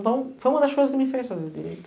Então foi uma das coisas que me fez fazer direito.